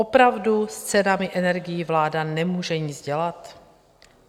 Opravdu s cenami energií vláda nemůže nic dělat?